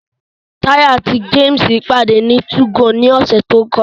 Tayo àti James pàdé ní 2go ní ọ̀sẹ̀ tó kọjá